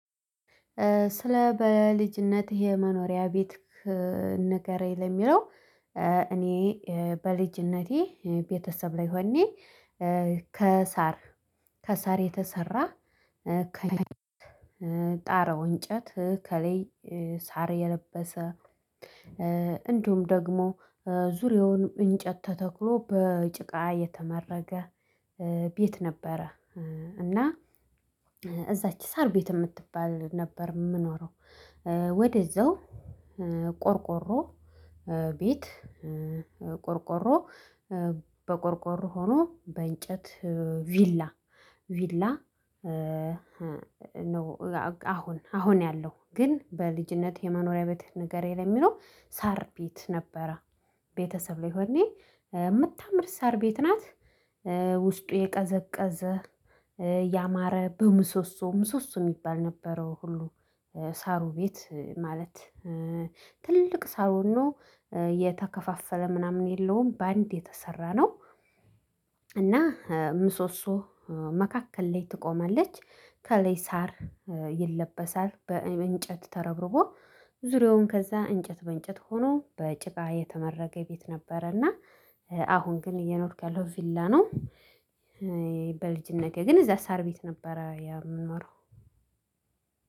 ስለ በልጅነት የመኖሪያ ቤት ንገረኝ? የሚለው እኔ በልጅነቴ ቤተሰብ ላይ ሆኜ ከሳር ከሳር የተሰራ ጣራው እንጨት ከላይ ሳር የለበሰ እንደውም ደግሞ ዙሪያውን እንጨት ተተክሎ በጭቃ የተመረገ ቤት ነበረ። እና እዛች ሳር ቤት የምትባል ነበር የምኖረው። ወደዛው ቆርቆሮ ቤት ቆርቆሮ በቆርቆሮ ሆኖ በእንጨት ቪላ ቪላ ነው። አሁን አሁን ያለው ግን በልጅነት የመኖሪያ ቤት ንገረኝ ለሚለው ሳር ቤት ነበረ። ቤተሰብ ላይ ሆኜ የምታምር ሳር ቤት ናት። የቀዘቀዘ ያማረ በምሶሶም ምሶሶ የሚባል ነበረው ሁሉ ሳሩ ቤት ማለት ትልቅ ሳሩኖ የተከፋፈለ ምናምን የለውም በአንድ የተሰራ ነው። እና ምሶሶ መካከል ላይ ትቆማለች ከለይ ሳር ይለበሳል በእንጨት ተረብርቦ ዙሪያውን ከዛ እንጨት በእንጨት ሆኖ በጭቃ የተመረገ ቤት ነበረና። አሁን ግን እየኖርካለሁ ቪላ ነው። በልጅነቴ ግን እዛ ሳር ቤት ነበረ የምንኖረው